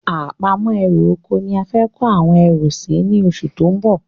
Àpamọ́ ẹrù ọkọ̀ ni a fẹ kó àwọn erù sì ni oṣù tó ń bọ̀